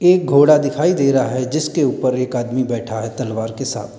एक घोड़ा दिखाई दे रहा है जिसके ऊपर एक आदमी बैठा है तलवार के साथ।